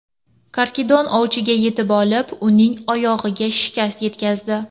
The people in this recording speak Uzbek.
Karkidon ovchiga yetib olib, uning oyog‘iga shikast yetkazdi.